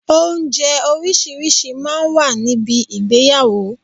Oúnjẹ orísìírísìí máa ń wà ní bi ìgbéyàwó.